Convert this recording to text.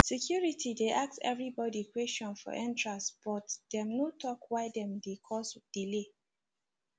security dey ask everybody question for entrance but dem no tok why dem dey cause delay